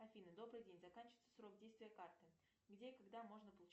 афина добрый день заканчивается срок действия карты где и когда можно получить